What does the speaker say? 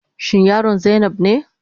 Shin yaron zainab ne?